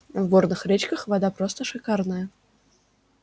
в горных речках вода просто шикарная